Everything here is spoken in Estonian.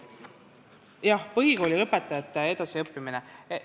Jah, põhikooli lõpetanute edasiõppimine.